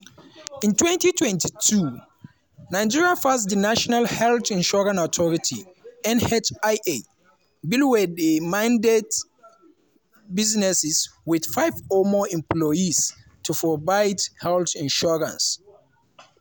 in 2022 nigeria pass di national health insurance authority (nhia) bill wey mandate businesses with five or more employees to provide health insurance.